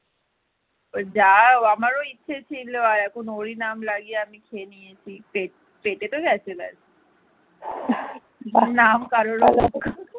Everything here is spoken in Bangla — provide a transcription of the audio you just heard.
কারোর অপেক্ষা।